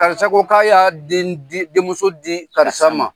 Karisa ko k'a y'a den di ,denmuso di karisa ma.